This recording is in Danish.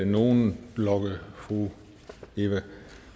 nogen logge fru eva